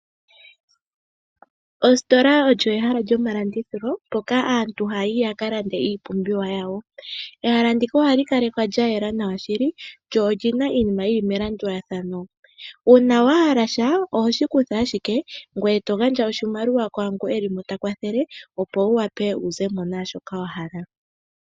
Ositola olyo eha lyomalandi thilo mpoka aantuohaya yi yaka lande iipumbiwa yawo. Ehala ndika ohali kalwekwa lya yela nawa shili lyo lyina iinima yili melandulathano. Uuna wahala sha oho shi kutha ashike ngweye togandja iimaliwa kwaango elimo ta kwathele opo wu wape wuzemo naashoka wahala.